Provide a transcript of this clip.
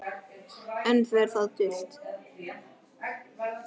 Enn fer það dult